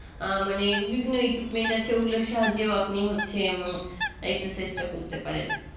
আ মানে বিভিন্ন equipment আছে ওগুলোর সাহায্যেও আপনি হচ্ছে উম exercise টা করতে পারেন